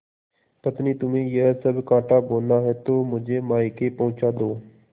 पत्नीतुम्हें यह सब कॉँटा बोना है तो मुझे मायके पहुँचा दो